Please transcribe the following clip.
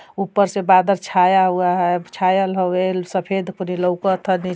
ऊपर से बादर छाया हुआ है। छायल हवेल् सफ़ेद पूरी लउकत ह नी --